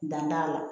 Dan t'a la